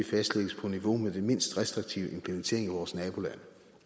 fastlægges på niveau med den mindst restriktive implementering i vores nabolande